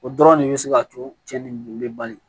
O dɔrɔn de bɛ se ka to cɛnni bɛ bali